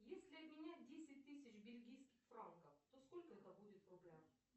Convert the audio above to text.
если обменять десять тысяч бельгийских франков то сколько это будет в рублях